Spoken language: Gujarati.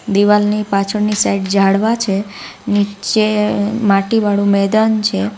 દિવાલની પાછળની સાઈડ ઝાડવા છે નીચે અ માટી વાળું મેદાન છે.